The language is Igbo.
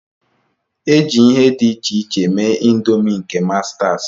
E ji ihe dị iche iche mee ịndomii nke mastas.